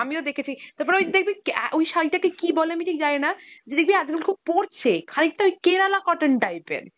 আমিও দেখেছি, তারপর ওই দেখবি ক্যা ওই শাড়িটাকে কী বলে আমি ঠিক জানি না, দেখবি আজকাল খুব পরছে, খানিকটা ওই Kerala cotton type এর